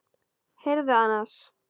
Heyrðu annars.